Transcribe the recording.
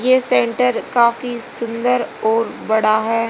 ये सेंटर काफी सुंदर और बड़ा है।